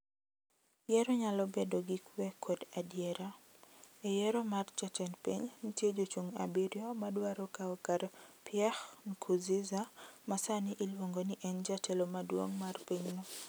"Yiero nyalo bedo gi kwe kod adiera "E yiero mar jatend piny nitie jochung' abirio madwaro kawo kar Pierre Nkuruziza ma sani iluongo ni en jatelo maduong’ mar pinyno.